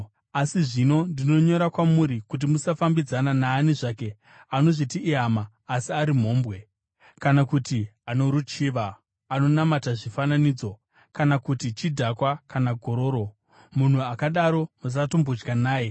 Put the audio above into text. Asi zvino ndinonyora kwamuri kuti musafambidzana naani zvake anozviti ihama asi ari mhombwe, kana kuti ano ruchiva, anonamata zvifananidzo, kana kuti chidhakwa kana gororo. Munhu akadaro musatombodya naye.